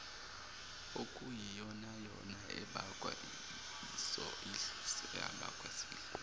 okuyiyonayona abakwa sidlodlo